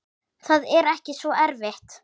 Það er ekki svo erfitt.